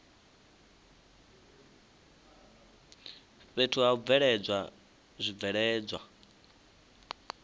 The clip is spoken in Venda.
fhethu ha u bveledza zwibveledzwa